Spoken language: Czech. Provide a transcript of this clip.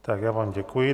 Tak já vám děkuji.